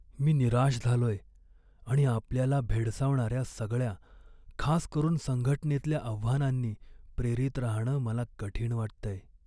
मी निराश झालोय आणि आपल्याला भेडसावणाऱ्या सगळ्या, खास करून संघटनेतल्या आव्हानांनी प्रेरित राहणं मला कठीण वाटतंय.